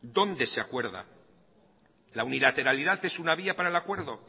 dónde se acuerda la unilateralidad es una vía para el acuerdo